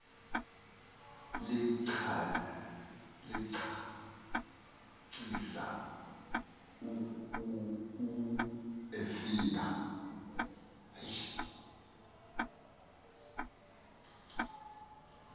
licacisa u efika